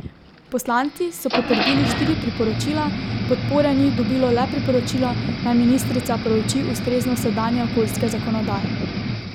Poslanci so potrdili štiri priporočila, podpore ni dobilo le priporočilo, naj ministrica prouči ustreznost sedanje okoljske zakonodaje.